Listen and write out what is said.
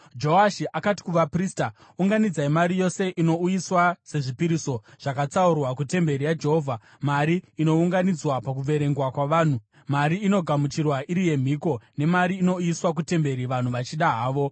Joashi akati kuvaprista, “Unganidzai mari yose inouyiswa sezvipiriso zvakatsaurwa kutemberi yaJehovha, mari inounganidzwa, pakuverengwa kwavanhu, mari inogamuchirwa iri yemhiko, nemari inouyiswa kutemberi vanhu vachida havo.